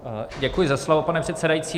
Děkuji za slovo, pane předsedající.